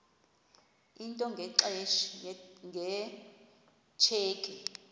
into nge tsheki